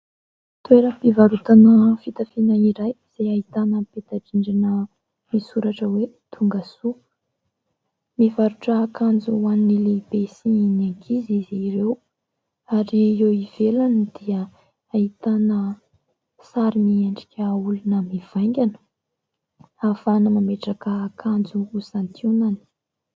Toeram-pivarotana fitafiana iray izay ahitana peta-drindrina misoratra hoe "tongasoa" . Mivarotra akanjo ho an'ny lehibe sy ny ankizy izy ireo ary eo ivelany dia ahitana sary miendrika olona mivaingana ahafahana mametraka akanjo ho santionany.